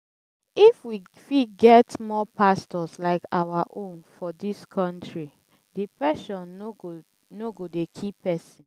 if we fit get more pastors like our own for dis country depression no go no go dey kill pesin